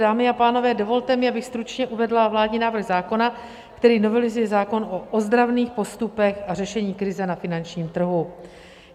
Dámy a pánové, dovolte mi, abych stručně uvedla vládní návrh zákona, který novelizuje zákon o ozdravných postupech a řešení krize na finančním trhu.